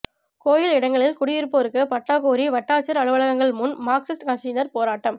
கோயில் இடங்களில் குடியிருப்போருக்கு பட்டா கோரி வட்டாட்சியா் அலுவலகங்கள் முன் மாா்க்சிஸ்ட் கட்சியினா் போராட்டம்